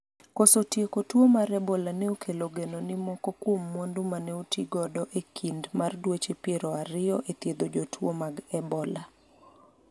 koso tieko tuo mar ebola ne okelo geno ni moko kuom mwandu mane oti godo e kind mar dweche piero ariyo e thiedho jotuo mag ebola,